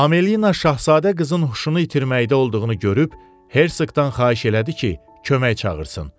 Amelina şahzadə qızın huşunu itirməkdə olduğunu görüb Herseqdən xahiş elədi ki, kömək çağırsın.